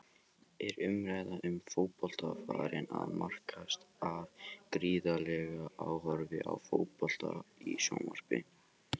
Er umræða um fótbolta farin að markast af gríðarlegu áhorfi á fótbolta í sjónvarpi?